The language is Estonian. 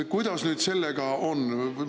Kuidas nüüd sellega on?